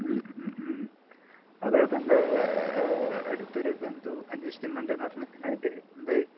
മ് മ് മ്. അത് തന്‍റെ അടുത്തൊരു ബന്ധു അന്വേഷിക്കുന്നുണ്ട് എന്ന് പറഞ്ഞു. അതിന്‍റെ എന്തായി?